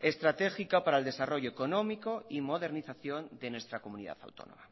estratégica para el desarrollo económico y modernización de nuestra comunidad autónoma